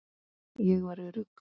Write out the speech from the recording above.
Ég var örugg.